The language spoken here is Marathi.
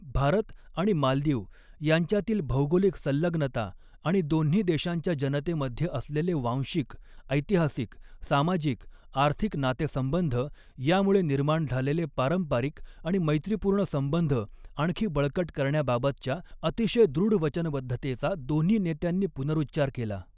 भारत आणि मालदीव यांच्यातील भौगोलिक संलग्नता आणि दोन्ही देशांच्या जनतेमध्ये असलेले वांशिक, एैतिहासिक, सामाजिक आर्थिक नातेसंबंध यामुळे निर्माण झालेले पारंपरिक आणि मैत्रीपूर्ण संबंध आणखी बळकट करण्याबाबतच्या अतिशय दृढ वचनबद्धतेचा दोन्ही नेत्यांनी पुनरुच्चार केला.